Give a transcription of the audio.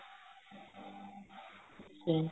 ਅੱਛਾ ਜੀ